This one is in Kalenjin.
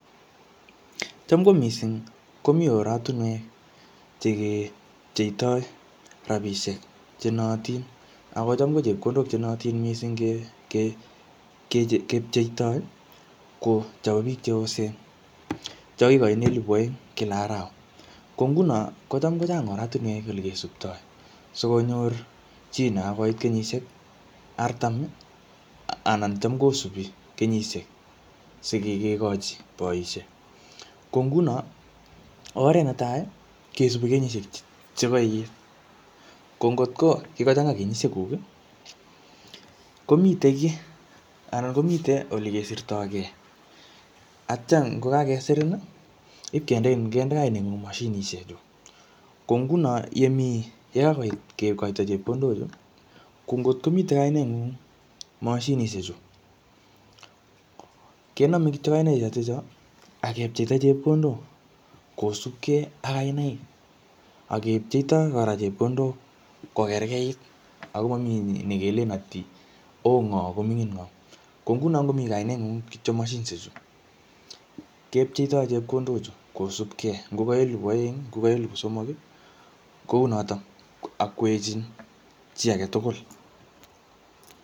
Cham ko missing, komii oratunwek che kepcheitoi rabisiek che naatin. Akocham ko chepkondok che naatin missing ke-ke-kepcheitoi, ko chobo biik cheosen cho kikochin elepu aeng kila arawa. Ko nguno, kocham kochang ortunwek ole kesuptoi, sikonyor chiii nekakoit kenyishiek artam, Anan kocham kosubi kenyishiek sikikkekochi boisiek. Ko nguno, oret entai kesubi kenyishiek che kaiit. Ko ngotko kikochanga kenyoshiek kuk, komitei kiy, anan komite ole kesirtkoikey. Atya ngokakesirin, ipkendein, kende kainet ngung mashinishek chu. Ko nguno yemii yekakoit kekoito chepkondok chuu, ko ngotkomitei kainaet ngung mashinishek chuu, kename kityo kainaik chotocho, akepcheita chepkondok kosubkei ak kainaik. Akepcheitoi kora chepkondok kokerkait. Ako mamii nekelen ati oo ngoo koming'in ngoo. Ko nguno ngomii kainet ngung kityo mashinishek chuu, kepcheitoi chepkondok chu kosubkei. Ngoka elepu aeng, ngoka elepu somok, kounotok ak kwechin chi age tugul